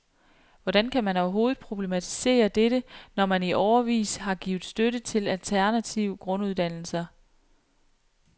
Hvordan kan man overhovedet problematisere dette, når man i årevis har givet støtte til alternativ grunduddannelser.